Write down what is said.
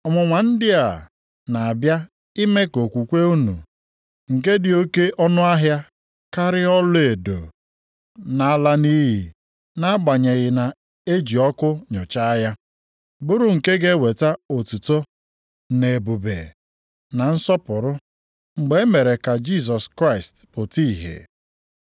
Ọnwụnwa ndị a na-abịa ime ka okwukwe unu, nke dị oke ọnụahịa karịa ọlaedo na-ala nʼiyi nʼagbanyeghị na e ji ọkụ nụchaa ya; bụrụ nke ga-eweta otuto, na ebube, na nsọpụrụ, mgbe e mere ka Jisọs Kraịst pụta ìhè.